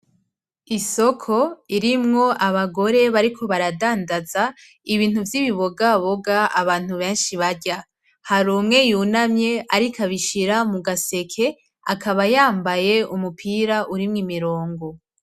Isoko irimwo abagore bariko baradandaza ibintu vy'ibibogaboga abantu benshi barya. Hari umwe yunamye ariko abishira mu gaseke, akaba yambaye umupira urimwo imirongo.